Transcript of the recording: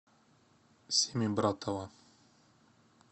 семибратова